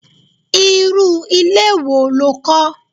Irú ilé wo lo kó?